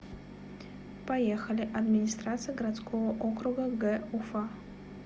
поехали администрация городского округа г уфа